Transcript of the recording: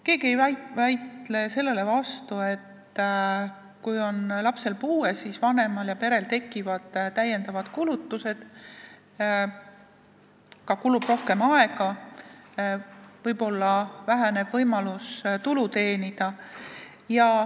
Keegi ei vaidle vastu, et kui lapsel on puue, siis vanemal ja perel tekivad lisakulutused, neil kulub ka rohkem aega ja võib väheneda võimalus tulu teenida.